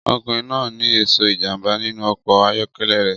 Ọkùnrin náà ní ẹ̀ṣọ́ ìjàmbá nínú ọkọ̀ ayọ́kẹ́lẹ́ rẹ̀